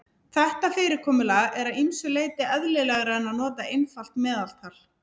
Þetta fyrirkomulag er að ýmsu leyti eðlilegra en að nota einfalt meðaltal.